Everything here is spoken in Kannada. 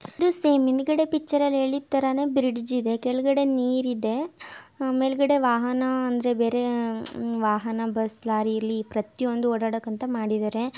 ಅದು ಸೇಮ್ ಇದೆ. ಪಿಕ್ಚರ್ ಹೇಳಿದ್ದಾರೆ ಬ್ರೈಡ್ ಕೆಳಗಡೆ ನೀರಿದೆ. ಮೇಲ್ಗಡೆ ವಾಹನ ಅಂದ್ರೆ ಬೇರೆ ವಾಹನ ಬಸ್ ಲಾರಿಯಲ್ಲಿ ಪ್ರತಿಯೊಂದು ಮಾಡಿದ್ದಾರೆ.